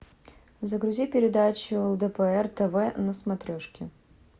загрузи передачу лдпр тв на смотрешке